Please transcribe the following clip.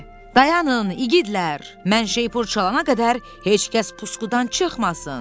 Dayanın, igidlər, mən şeypur çalana qədər heç kəs puskudan çıxmasın!